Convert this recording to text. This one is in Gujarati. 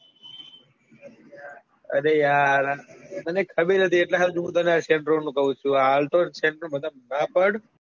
અરે યાર હાલ તો આ santro નું કું છું alto santro બધા માં નાં પડ.